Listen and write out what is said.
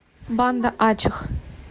банда ачех